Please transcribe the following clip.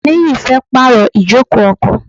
Niyi fẹ́ pàrọ̀ ijoko ọkọ̀.